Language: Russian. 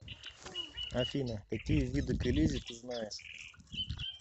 афина какие виды к элизе ты знаешь